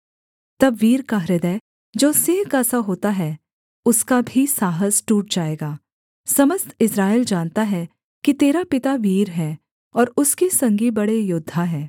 तब वीर का हृदय जो सिंह का सा होता है उसका भी साहस टूट जाएगा समस्त इस्राएल जानता है कि तेरा पिता वीर है और उसके संगी बड़े योद्धा हैं